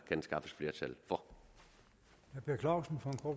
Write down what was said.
kan skaffes flertal for